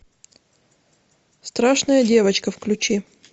страшная девочка включи